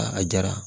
a diyara